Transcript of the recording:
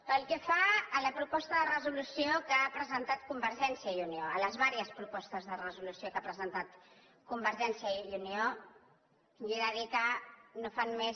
pel que fa a la proposta de resolució que ha presentat convergència i unió a les diverses propostes de resolució que ha presentat convergència i unió jo he de dir que no fan més